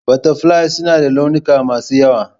Butterflies suna da launuka masu yawa.